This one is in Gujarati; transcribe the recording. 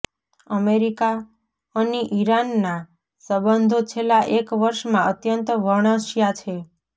અમેરિકા અની ઈરાનના સંબંધો છેલ્લા એક વર્ષમાં અત્યંત વણસ્યા છે